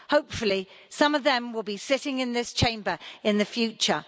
Hopefully, some of them will be sitting in this Chamber in the future.